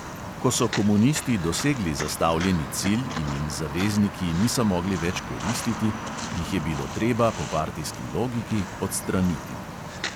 Ko so komunisti dosegli zastavljeni cilj in jim "zavezniki" niso mogli več koristiti, jih je bilo treba po partijski logiki odstraniti.